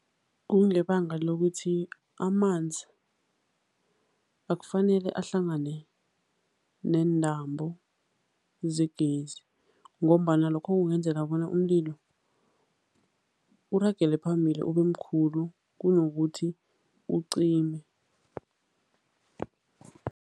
Kungebanga lokuthi amanzi akufanele ahlangane neentambo zegezi ngombana lokho kungenzeka bona umlilo uragele phambili ubemkhulu kunokuthi ucime.